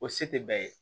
O se tɛ bɛɛ ye